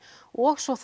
og svo